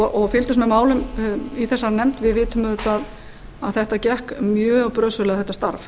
og fylgdust með málum í þessari nefnd vitum auðvitað að þetta gekk mjög brösulega þetta starf